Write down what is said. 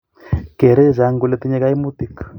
keerei chechang kole tinyei kaimutik